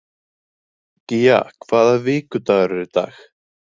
Gía, hvaða vikudagur er í dag?